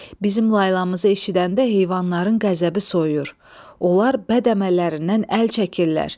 Bizim laylamızı eşidəndə heyvanların qəzəbi soyuyur, onlar bəd əməllərindən əl çəkirlər.